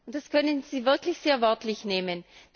Das können Sie wirklich sehr wörtlich nehmen.